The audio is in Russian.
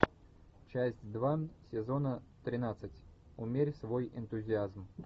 часть два сезона тринадцать умерь свой энтузиазм